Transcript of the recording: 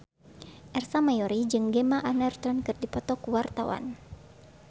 Ersa Mayori jeung Gemma Arterton keur dipoto ku wartawan